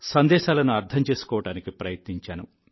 సందేశాలను అర్థం చేసుకోవడానికి ప్రయత్నించాను